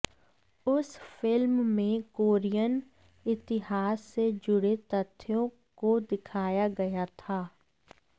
उस फिल्म में कोरियन इतिहास से जुड़े तथ्यों को दिखाया गया था